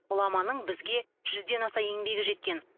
ғұламаның бізге жүзден аса еңбегі жеткен